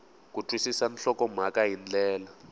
ku twisisa nhlokomhaka hi ndlela